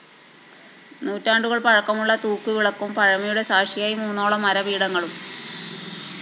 നൂറ്റാണ്ടുകള്‍ പഴക്കമുള്ള തൂക്ക് വിളക്കും പഴമയുടെ സാക്ഷിയായി മൂന്നോളം മരപീഠങ്ങളും